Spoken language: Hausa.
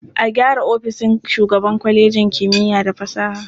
A gyara ofishin shugaban kwalejin kimiya da fasaha.